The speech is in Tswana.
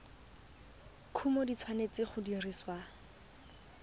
kumo di tshwanetse go dirisiwa